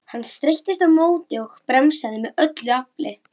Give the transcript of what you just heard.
Hann streittist á móti og bremsaði af öllu afli.